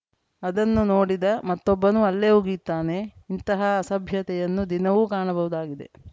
ಅದನ್ನು ನೋಡಿದ ಮತ್ತೊಬ್ಬನೂ ಅಲ್ಲೇ ಉಗಿಯುತ್ತಾನೆ ಇಂತಹ ಅಸಭ್ಯತೆಯನ್ನು ದಿನವೂ ಕಾಣಬಹುದಾಗಿದೆ